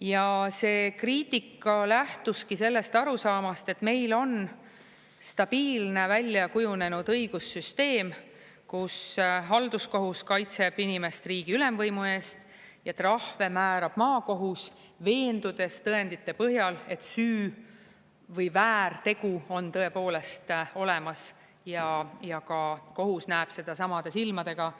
Ja see kriitika lähtuski sellest arusaamast, et meil on stabiilne, välja kujunenud õigussüsteem, kus halduskohus kaitseb inimest riigi ülemvõimu eest ja trahve määrab maakohus, veendudes tõendite põhjal, et süü või väärtegu on tõepoolest olemas ja ka kohus näeb seda samade silmadega,